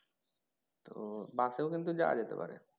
তো bus এও কিন্তু যাওয়া যেতে পারে।